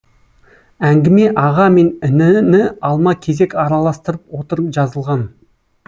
әңгіме аға мен ініні алма кезек араластырып отырып жазылған